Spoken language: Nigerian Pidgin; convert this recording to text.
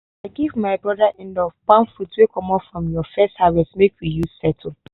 i give my brother inlaw palm fruits wey comot from ur first harvest make we use settle.